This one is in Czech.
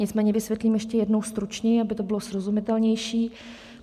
Nicméně vysvětlím ještě jednou stručněji, aby to bylo srozumitelnější.